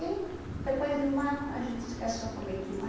E depois de um ano, a gente se casou com vinte e um anos.